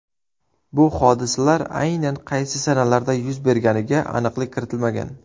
Bu hodisalar aynan qaysi sanalarda yuz berganiga aniqlik kiritilmagan.